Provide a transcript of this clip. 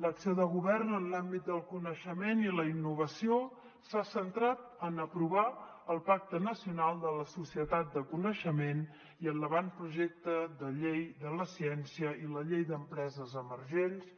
l’acció de govern en l’àmbit del coneixement i la innovació s’ha centrat en aprovar el pacte nacional per a la societat del coneixement i en l’avantprojecte de llei de la ciència i la llei d’empreses emergents